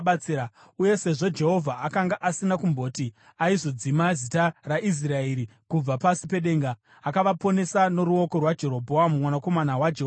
Uye sezvo Jehovha akanga asina kumboti aizodzima zita raIsraeri kubva pasi pedenga, akavaponesa noruoko rwaJerobhoamu mwanakomana waJehoashi.